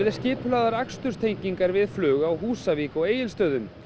skipulagðar við flug á Húsavík og Egilsstöðum